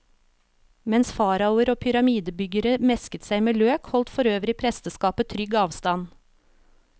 Mens faraoer og pyramidebyggere mesket seg med løk, holdt forøvrig presteskapet trygg avstand.